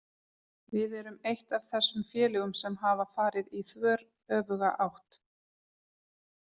Við erum eitt af þessum félögum sem hafa farið í þveröfuga átt.